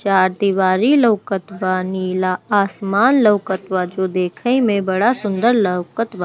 चार दिवारी लोकत बा नीला आसमान लोकत बा जो देखे मे बड़ा-सुंदर लोकत बा।